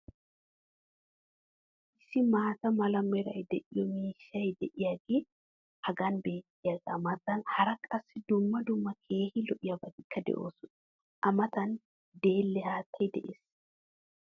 issi maata mala meray de'iyo miishshay diyaagee hagan beetiyaagaa matan hara qassi dumma dumma keehi lo'iyaabatikka de'oosona. a matan deelle haattay des.